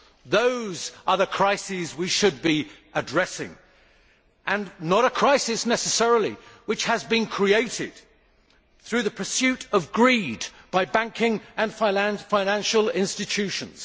Those are the crises we should be addressing and not necessarily a crisis which has been created through the pursuit of greed by banking and financial institutions.